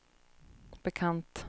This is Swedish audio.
bekant